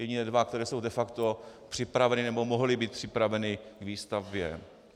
Jedině dva, které jsou de facto připraveny nebo mohly být připraveny k výstavbě.